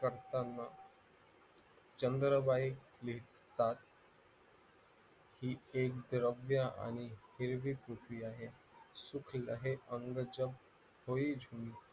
करताना चंद्र टांग द्रव्य आणि रुकती आहे